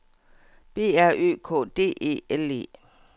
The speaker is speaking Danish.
B R Ø K D E L E